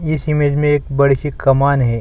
इस इमेज में एक बड़ी सी कमान है।